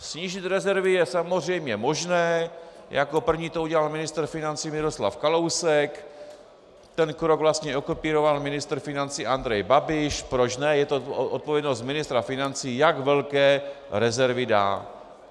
Snížit rezervy je samozřejmě možné, jako první to udělal ministr financí Miroslav Kalousek, ten krok vlastně okopíroval ministr financí Andrej Babiš, proč ne, je to odpovědnost ministra financí, jak velké rezervy dá.